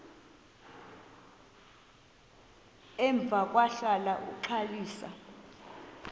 emva kwahlala uxalisa